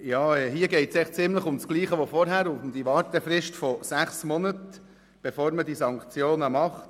II. Hier geht es ziemlich um dasselbe wie vorhin, nämlich um die Wartefrist von sechs Monaten, bevor man diese Sanktionen anwendet.